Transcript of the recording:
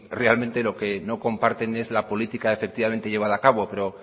realmente sí lo que no comparten es la política efectivamente llevada a cabo pero